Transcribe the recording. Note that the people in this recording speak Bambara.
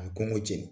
A bɛ kɔngɔ jeni